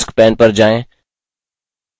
task pane पर जाएँ